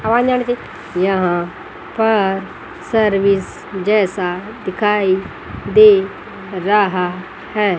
यहां पर सर्विस जैसा दिखाई दे रहा है।